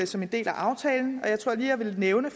som en del af aftalen jeg tror lige jeg vil nævne